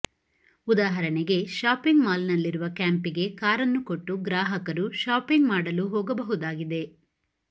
ಉದಾಹರಣೆಗೆ shopping mall ನಲ್ಲಿರುವ ಕ್ಯಾಂಪಿಗೆ ಕಾರನ್ನು ಕೊಟ್ಟು ಗ್ರಾಹಕರು ಶಾಪಿಂಗ್ ಮಾಡಲು ಹೋಗಬಹುದಾಗಿದೆ